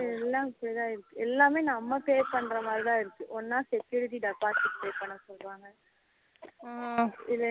இது எல்லாம் இப்படி தான் இருக்கு எல்லாமே நம்ம pay பண்ணுற மாதிரி தான் இருக்கு ஒன்னா security deposit pay பண்ண சொல்லுறாங்க